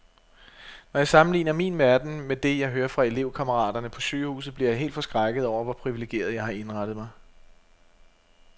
Når jeg sammenligner min verden med det, jeg hører fra elevkammeraterne på sygehuset, bliver jeg helt forskrækket over, hvor privilegeret, jeg har indrettet mig.